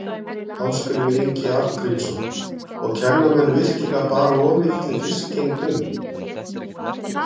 Ásgrímur Ingi Arngrímsson: Og kenna menn virkilega bara of mikilli fiskgengd um?